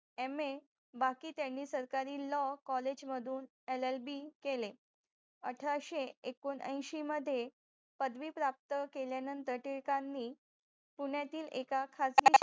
MA बाकी त्यांनी सरकारी LAW COLLEGE मधून LLB केले अठराशे एकोणयशी मदे पदवी प्राप्त केल्यानंतर टिळकांनी पुण्यातील एकाखाजगी